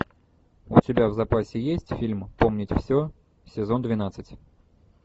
у тебя в запасе есть фильм помнить все сезон двенадцать